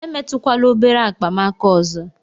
Emetụkwala obere akpa m aka ọzọ!